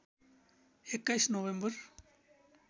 २१ November